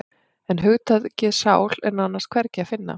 En hugtakið sál er nánast hvergi að finna.